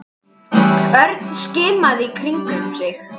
Örn skimaði í kringum sig.